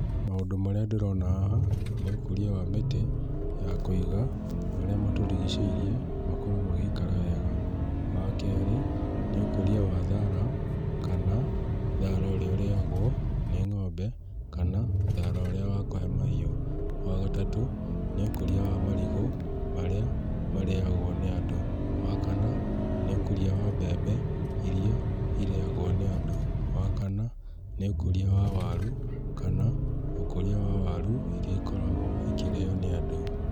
Maũndũ marĩa ndĩrona haha nĩ ũkũria wa mĩtĩ ya kũiga marĩa matũrigicĩirie, makorwo magĩikara wega. Wa keerĩ, nĩ ũkũria wa thaara kana thaara ũrĩa ũrĩagwo nĩ ng'ombe, kana thaara ũrĩa wa kũhe mahiũ. Wa gatatũ, nĩ ũkũria wa marigũ marĩa marĩagwo nĩ andũ. Wa kana, nĩ ũkũria wa mbembe iria irĩagwo nĩ andũ. Wa kana, nĩ ũkũria wa waru kana ũkũria wa waru iria ikoragwo ikĩrĩo nĩ andũ.